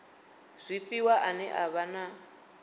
zwifhiwa ane a vha na